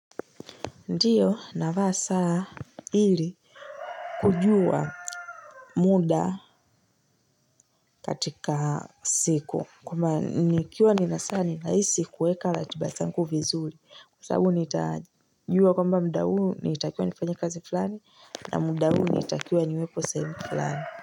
Ndiyo navaa saa ili kujua muda katika siku kwamba nikiwa ni na saa ni rahisi kuweka ratiba zangu vizuri kwa sababu nita jua kwamba muda huu natakiwa nifanye kazi fulani na muda huu natakiwa niwekwe sehemu fulani.